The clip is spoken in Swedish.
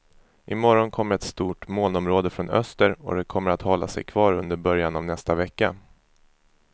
I morgon kommer ett stort molnområde från öster, och det kommer att hålla sig kvar under början av nästa vecka.